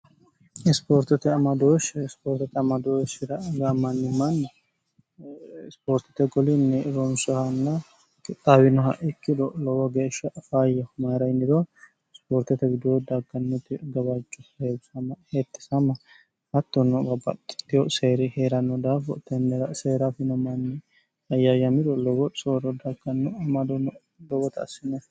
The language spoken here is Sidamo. isipoortote amadooshi ispoortote amadooshira gaamanni manni isipoortote golinni ronsohanna ixaawinoha ikkilo lowo geeshsha fayya humayira inido sipoortete widuo dakkannote gabacho eebisama hetti sama hattonno babbaxxitiyo seeri hee'ranno daafo tennira seeraafino manni ayyaa yamiro lowo sooro dakkanno amadono bowota assino